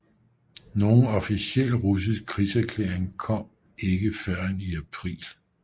Nogen officiel russisk krigserklæring kom ikke førend i april